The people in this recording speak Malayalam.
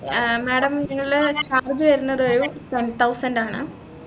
ആഹ് madam നിങ്ങളെ charge വരുന്നത് ഒരു ten thousand ആണ്